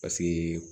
Paseke